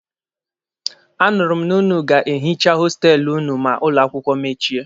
A nụrụ m na ụnụ ga-ehicha hostelụ ụnụ ma ụlọ akwụkwọ mechie.